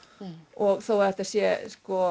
og þó þetta sé